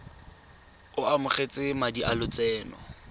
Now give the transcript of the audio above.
o amogetse madi a lotseno